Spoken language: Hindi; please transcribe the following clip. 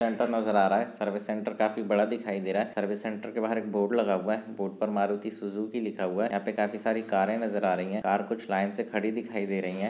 सेंटर नजर आ रहा है सर्विस सेंटर काफी बड़ा दिखाई दे रहा है सर्विस सेंटर के बाहर एक बोर्ड लगा हुआ है बोर्ड पर मारुति सुज़ुकी लिखा हुआ है यहाँ पे काफी सारी कारे दिखाई दे रही है कार कुछ लाइन से खड़ी दिखाई दे रही है।